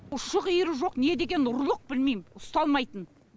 ұшы қиыры жоқ недеген ұрлық білмейм ұсталмайтын